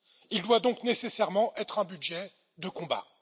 Il doit donc nécessairement être un budget de combat.